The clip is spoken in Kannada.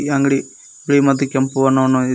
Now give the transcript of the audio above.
ಅಂಗಡಿ ಬಿಳಿ ಮತ್ತು ಕೆಂಪು ಬಣ್ಣವನ್ನು ಹೊ--